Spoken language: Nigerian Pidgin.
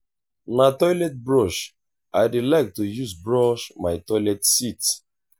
na toilet brush i dey like to use brush my toilet seat.